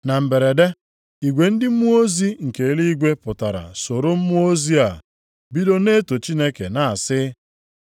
Na mberede, igwe ndị mmụọ ozi nke eluigwe pụtara soro mmụọ ozi a, bido na-eto Chineke na-asị,